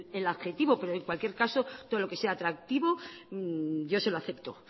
el adjetivo pero en cualquier caso todo lo que sea atractivo yo se lo acepto